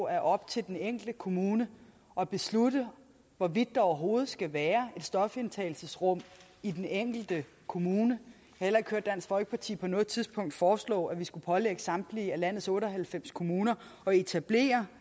er op til den enkelte kommune at beslutte hvorvidt der overhovedet skal være et stofindtagelsesrum i den enkelte kommune jeg heller ikke hørt dansk folkeparti på noget tidspunkt foreslå at vi skulle pålægge samtlige af landets otte og halvfems kommuner at etablere